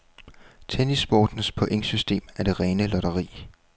Tennissportens pointsystem er det rene lotteri.